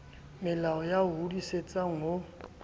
malomao ya o hodisitseng ho